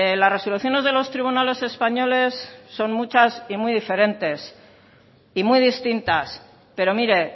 las resoluciones de los tribunales españoles son muchas y muy diferentes y muy distintas pero mire